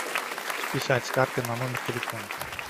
списать с карты на номер телефона